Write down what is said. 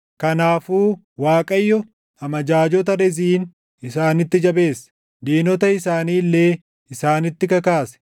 Kanaafuu Waaqayyo amajaajota Reziin isaanitti jabeesse; diinota isaanii illee isaanitti kakaase.